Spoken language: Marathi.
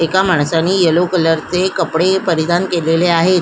एका माणसाने येलो कलरचे कपडे परिधान केलेले आहे.